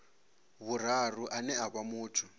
vhuraru ane a vha muthu